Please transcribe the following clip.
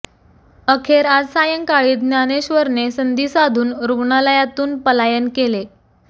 अखेर आज सायंकाळी ज्ञानेश्वरने संधी साधून रुग्णालयातून पलायन केलं